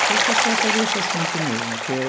Acho que é só sobre esse assunto mesmo que é.